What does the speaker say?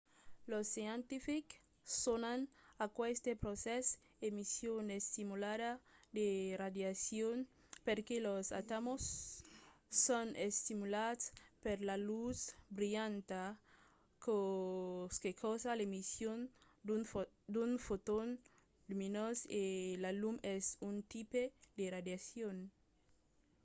los scientifics sonan aqueste procès emission estimulada de radiacion perque los atòms son estimulats per la lutz brilhanta çò que causa l'emission d'un foton luminós e la lum es un tipe de radiacion